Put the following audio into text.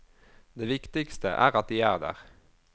Det viktigste er at de er der.